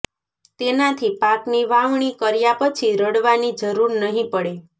તેનાથી પાકની વાવણી કર્યા પછી રડવાની જરૂર નહી પડે